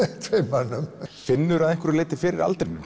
tveimur mönnum finnurðu að einhverju leyti fyrir aldrinum